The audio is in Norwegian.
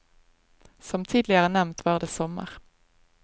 Som tidligere nevnt var det sommer.